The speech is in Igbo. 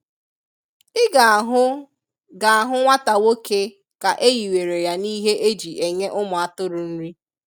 I ga ahụ ga ahụ nwata nwoke ka enyiwere ya n'ihe eji enye ụmụ atụrụ nri.